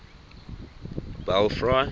belfry